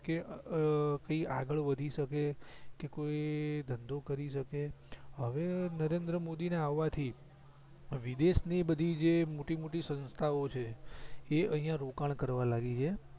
કે કોઈ આગળ વધી શકે કે કોઈ ધધો કરી શકે હવે નરેન્દ્ર મોદી ના આવાથી વિદેશ ની બધી જે મોટી મોટી સંસ્થા ઓ છે એ અહીંયા રોકાણ કરવા લાગી છે